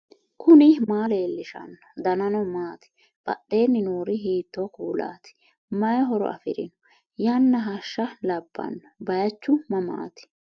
knuni maa leellishanno ? danano maati ? badheenni noori hiitto kuulaati ? mayi horo afirino ? yanna hashsha labbanno baychu mamaati